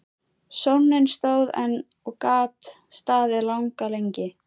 Sónninn stóð enn og gat staðið langa lengi.